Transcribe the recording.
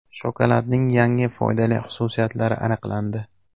Shokoladning yangi foydali xususiyatlari aniqlandi.